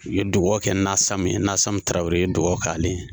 Ki ye dugawu kɛ Nasamu ye Nasamu Tarawele i ye dugawu k'ale ye.